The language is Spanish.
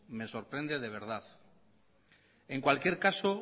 me sorprende de verdad en cualquier caso